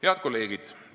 Head kolleegid!